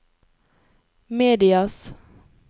medias